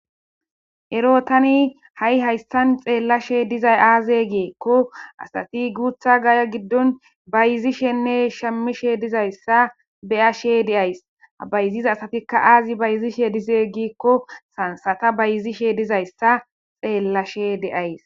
Erotani ha7i hayssan xeellashe dizay aaze geekko asati guutha gaya giddon bayizishenne shamishe dizayssa beya she deays bayziza asatikka aazi bayizishe dizeeygikko sansata bayizishe dizayssa xeellashe deays.